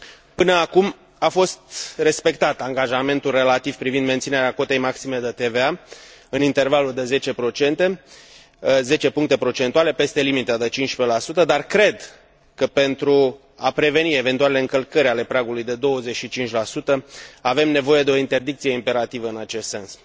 Până acum a fost respectat angajamentul relativ privind menținerea cotei maxime de TVA în intervalul de 10 puncte procentuale peste limita de 15 dar cred că, pentru a preveni eventualele încălcări ale pragului de 25 avem nevoie de o interdicție imperativă în acest sens.